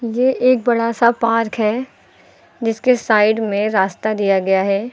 ये एक बड़ा सा पार्क है जिसके साइड में रास्ता दिया गया है।